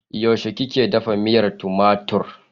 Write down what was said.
Yaushe kika dafa miyar tumatur?